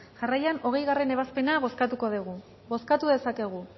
jarraian hogeigarren ebazpena bozkatuko dugu bozkatu dezakegu